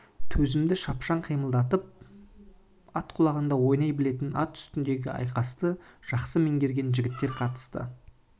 төзімді шапшаң қимылдап ат құлағында ойнай білетін ат үстіндегі айқасты жақсы меңгерген жігіттер қатысады